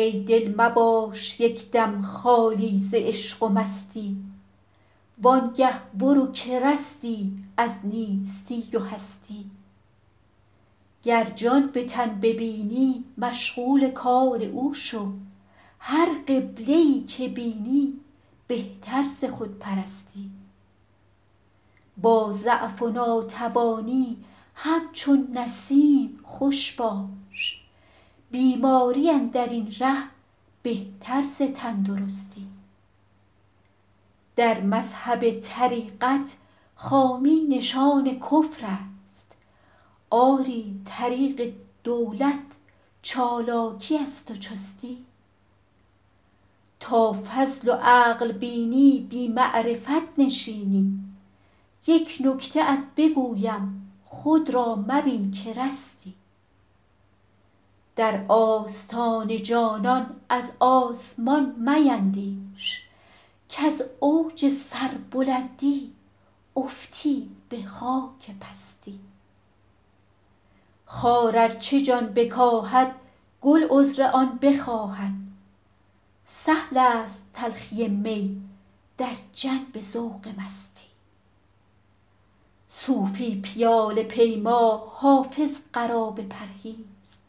ای دل مباش یک دم خالی ز عشق و مستی وان گه برو که رستی از نیستی و هستی گر جان به تن ببینی مشغول کار او شو هر قبله ای که بینی بهتر ز خودپرستی با ضعف و ناتوانی همچون نسیم خوش باش بیماری اندر این ره بهتر ز تندرستی در مذهب طریقت خامی نشان کفر است آری طریق دولت چالاکی است و چستی تا فضل و عقل بینی بی معرفت نشینی یک نکته ات بگویم خود را مبین که رستی در آستان جانان از آسمان میندیش کز اوج سربلندی افتی به خاک پستی خار ار چه جان بکاهد گل عذر آن بخواهد سهل است تلخی می در جنب ذوق مستی صوفی پیاله پیما حافظ قرابه پرهیز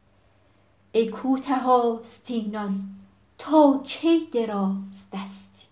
ای کوته آستینان تا کی درازدستی